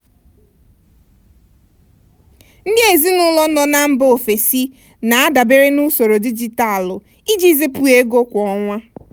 ndị ezinụlọ nọ mba ofesi na-adabere na usoro dijitalụ iji zipụ ego kwa ọnwa.